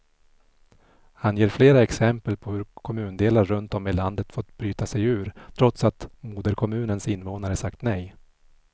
Han ger flera exempel på hur kommundelar runt om i landet fått bryta sig ur, trots att moderkommunens invånare sagt nej.